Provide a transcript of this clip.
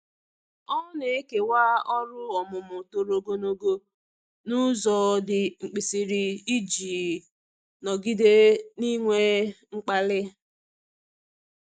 Ọ na-ekewa ọrụ ọmụmụ toro ogologo n'ụzọ dị mkpirisi iji nọgide n'inwe mkpali.